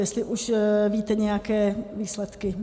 Jestli už víte nějaké výsledky.